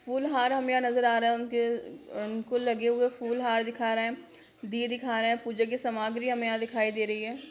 फुल-हार हमें यहाँ नजर आ रहा है उनके उनके लगे हुए फूल-हार दिखा रहे है दिए दिखा रहे पूजा के सामग्री हमें यहाँ दिखाई दे रही हैं।